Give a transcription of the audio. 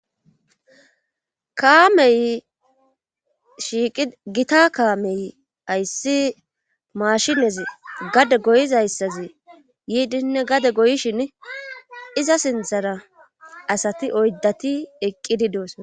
Kaamey shigita kaamey ayssi maashinezi gade goyizayssazi yiidinne gade goyishin iza sinthara asati oydati eqqidi doosa.